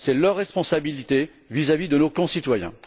C'est leur responsabilité vis à vis de nos concitoyens.